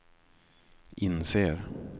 inser